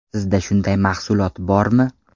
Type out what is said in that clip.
Sizda shunday mahsulot bormi?